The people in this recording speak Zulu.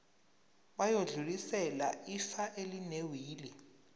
bayodlulisela ifa elinewili